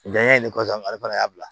Janya ye ne kɔsan ale fana y'a bila